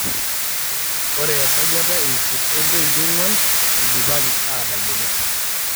oe esajata e eisiet o poniti ong'uan eidipaki aatayiolo